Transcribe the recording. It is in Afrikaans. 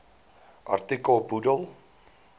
artikel bedoel